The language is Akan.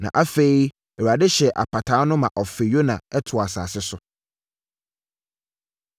Na afei, Awurade hyɛɛ apataa no ma ɔfee Yona too asase so.